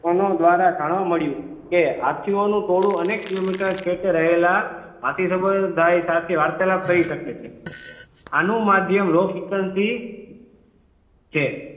ફોનો દ્વારા જાણવા મળ્યું કે હાથીઓનું ટોળું અનેક કિલોમીટર છેક રહેલા હાથી સમુદાય સાથે વાર્તાલાપ કરી શકે છે આનું માધ્યમ low-frequency છે